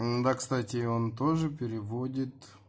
ээ да кстати он тоже переводит